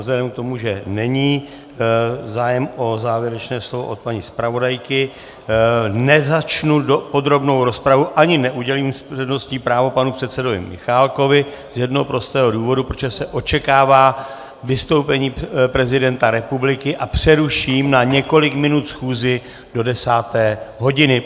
Vzhledem k tomu, že není zájem o závěrečné slovo od paní zpravodajky, nezačnu podrobnou rozpravu ani neudělím přednostní právo panu předsedovi Michálkovi z jednoho prostého důvodu, protože se očekává vystoupení prezidenta republiky, a přeruším na několik minut schůzi do desáté hodiny.